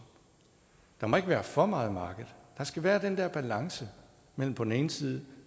der må ikke være for meget marked der skal være den der balance mellem på den ene side